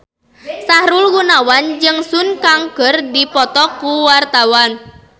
Sahrul Gunawan jeung Sun Kang keur dipoto ku wartawan